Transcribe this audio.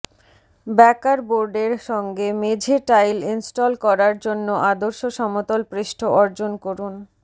ব্যাকার বোর্ডের সঙ্গে মেঝে টাইল ইনস্টল করার জন্য আদর্শ সমতল পৃষ্ঠ অর্জন করুন